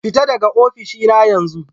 Fita daga ofishina yanzu!